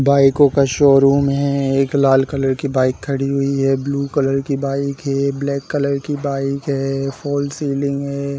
बाइको का शोरूम है एक लाल कलर की बाइक खड़ी हुई है ब्लू कलर की बाइक है ब्लैक कलर की बाइक है फॉल्स सीलिंग है।